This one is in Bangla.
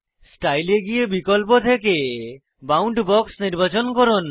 স্টাইল এ গিয়ে বিকল্প থেকে বাউন্ডবক্স নির্বাচন করুন